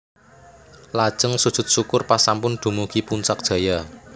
Lajeng sujud syukur pas sampun dumugi Puncak Jaya